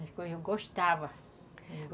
Eu gostava.